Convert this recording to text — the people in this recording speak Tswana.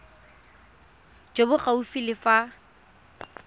jo bo gaufi le fa